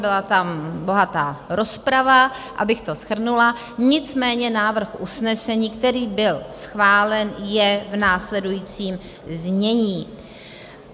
Byla tam bohatá rozprava, abych to shrnula, nicméně návrh usnesení, který byl schválen, je v následujícím znění.